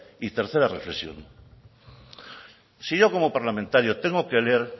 y tercera reflexión si yo como parlamentario tengo que leer